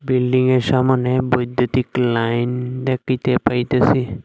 বিল্ডিংয়ের সামোনে বৈদ্যুতিক লাইন দেখিতে পাইতাছি।